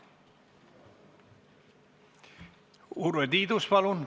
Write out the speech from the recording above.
Urve Tiidus, palun!